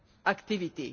activity.